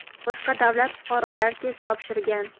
boshqa davlat fuqarolari test topshirgan.